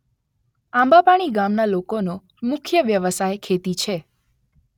આંબાપાણી ગામના લોકોનો મુખ્ય વ્યવસાય ખેતી છે.